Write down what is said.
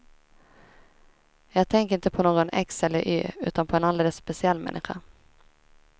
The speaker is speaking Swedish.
Jag tänker inte på någon x eller y, utan på en alldeles speciell människa.